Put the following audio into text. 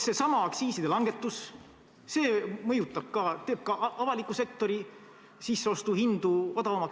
Seesama aktsiiside langetus – ka see mõjutab, teeb avaliku sektori sisseostuhinnad odavamaks.